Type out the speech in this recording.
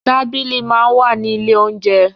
Tábìlì máa ń wà ní ilé óunjẹ.